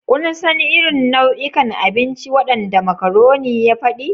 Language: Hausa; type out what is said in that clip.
Kun san irin nau'ikan abinci waɗanda macaroni ya faɗi?